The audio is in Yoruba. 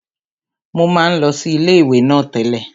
Mo máa ń lọ sí ilé ìwé náà tẹ́lẹ̀